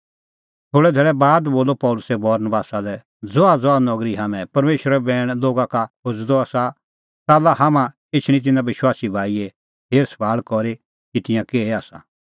थोल़ै धैल़ै बाद बोलअ पल़सी बरनबासा लै ज़हाज़हा नगरी हाम्हैं परमेशरो बैण लोगा का खोज़अ द आसा च़ाल्ला हाम्हां एछणी तिन्नां विश्वासी भाईए हेर सभाल़ करी कि तिंयां किहै आसा